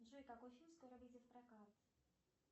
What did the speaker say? джой какой фильм скоро выйдет в прокат